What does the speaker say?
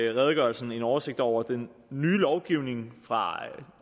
redegørelsen en oversigt over den nye lovgivning fra